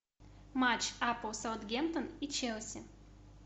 матч апл саутгемптон и челси